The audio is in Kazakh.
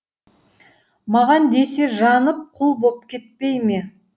маған десе жанып құл боп кетпей ме